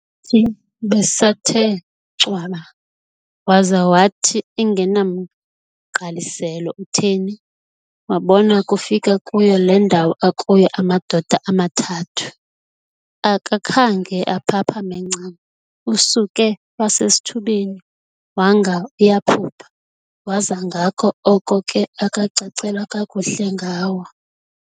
thi besathe ncwaba, waza wathi engenamgqaliselo utheni, wabona kufika kuyo le ndawo akuyo amadoda amathathu. akakhange aphaphame ncam, usuke wasesithubeni wanga uyaphupha, waza ngako oko ke akacacelwa kakuhle ngawo.